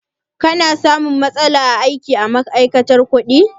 Ka na samun matsala aiki a ma'aikatar kuɗi?